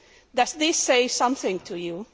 Does this say something to you?